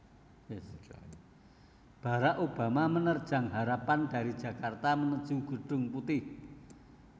Barack Obama Menerjang Harapan dari Jakarta Menuju Gedung Putih